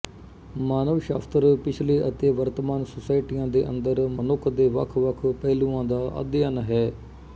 ਮਾਨਵ ਸ਼ਾਸਤਰ ਪਿਛਲੇ ਅਤੇ ਵਰਤਮਾਨ ਸੋਸਾਇਟੀਆਂ ਦੇ ਅੰਦਰ ਮਨੁੱਖ ਦੇ ਵੱਖਵੱਖ ਪਹਿਲੂਆਂ ਦਾ ਅਧਿਐਨ ਹੈ